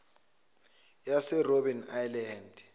yase robben island